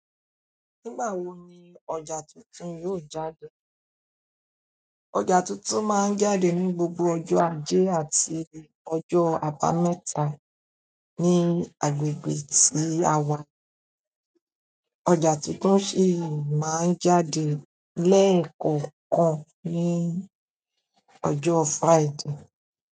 Nígbà wo ni ọjà tuntun yóò jáde? Ọjà tuntun máa ń jáde ní gbogbo ọjọ́ ajé àti ọjọ́ àbámẹ́ta ní agbègbè tí à wa. Ọjà tuntun sì máa ń jáde lẹ́ẹ̀kọ̀kan ní ọjọ́ Friday.